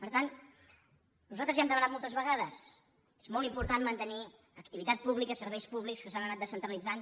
per tant nosaltres ja ho hem demanat moltes vegades és molt important mantenir activitat pública serveis públics que s’han anat descentralitzant